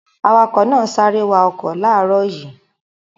Awakọ̀ náà ń sáré wa ọkọ̀ láàárọ̀ yìí.